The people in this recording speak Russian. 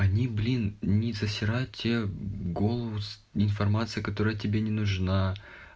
они блин не засирают тебе голову информацией которая тебе не нужна